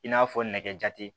I n'a fɔ nɛgɛjate